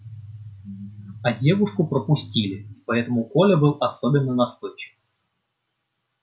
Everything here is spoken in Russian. а девушку пропустили и поэтому коля был особенно настойчив